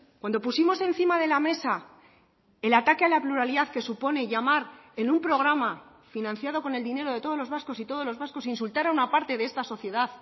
cuando pusimos encima de la mesa el ataque a la pluralidad que supone llamar en un programa financiado con el dinero de todos los vascos y todos los vascos insultar a una parte de esta sociedad